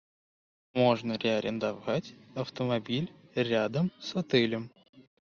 можно ли арендовать автомобиль рядом с отелем